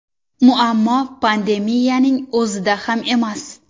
Muammo pandemiyaning o‘zida ham emas.